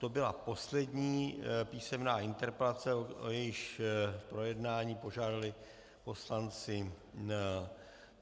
To byla poslední písemná interpelace, o jejíž projednání požádali poslanci.